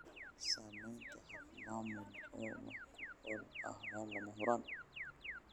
Samaynta habab maamul oo wax ku ool ah waa lama huraan.